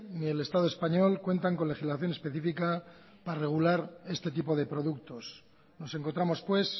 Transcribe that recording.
ni el estado español cuentan con legislación específica para regular este tipo de productos nos encontramos pues